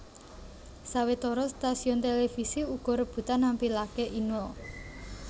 Sawetara stasiun télévisi uga rebutan nampilaké Inul